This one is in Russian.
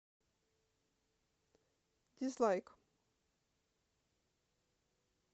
дизлайк